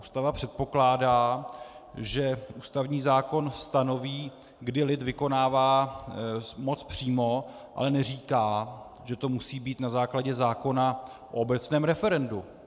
Ústava předpokládá, že ústavní zákon stanoví, kdy lid vykonává moc přímo, ale neříká, že to musí být na základě zákona o obecném referendu.